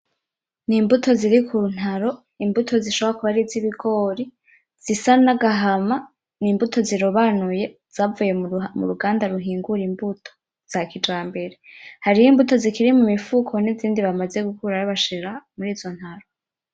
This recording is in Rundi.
N'imbuto ziri ku ntaro , imbuto zishobora kuba ari izibigori zisa n'agahama, n'imbuto zirobanuye zavuye muruganda ruhingura imbuto za kijambere hariho imbuto zikiri mu mifuko n’izindi bamaze gukurayo bashira murizo ntaro.